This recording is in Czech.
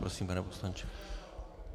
Prosím, pane poslanče.